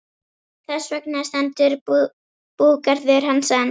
Þess vegna stendur búgarður hans enn.